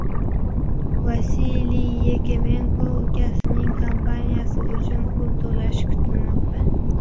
Vasiliy Yakemenko ukasining kampaniyasi uchun pul to‘plashi kutilmoqda.